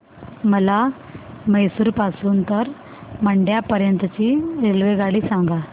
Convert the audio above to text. मला म्हैसूर पासून तर मंड्या पर्यंत ची रेल्वेगाडी सांगा